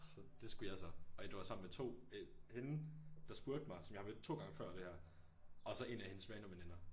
Så det skulle jeg så og det var sammen med to øh hende der spurgte mig som jeg har mødt to gange før det her og så en af hendes svaneveninder